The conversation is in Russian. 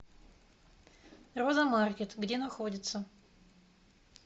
роза маркет где находится